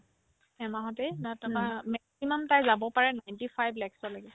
এমাহতে নে তাৰপাই haa maximum তাই যাব পাৰে ninety five lakh লৈকে